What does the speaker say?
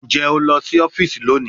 Njẹ o lọ si ọfiisi loni?